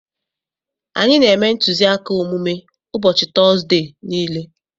Anyị na-eme ntụziaka omume ụbọchị Tọzdee niile.